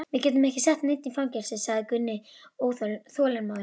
Við getum ekki sett neinn í fangelsi, sagði Gunni þolinmóður.